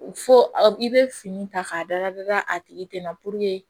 Fo aw i bɛ fini ta k'a da a tigi tɛ na